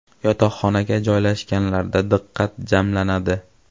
Yotoqxonaga joylashganlarda diqqat jamlanadi.